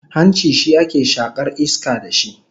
Hanci shi ake shakaru iska da shi